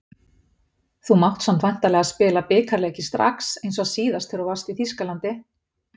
Þú mátt samt væntanlega spila bikarleiki strax eins og síðast þegar þú varst í Þýskalandi?